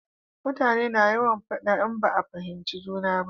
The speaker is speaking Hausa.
Mutane na yawan faɗa in ba a fahimci juna ba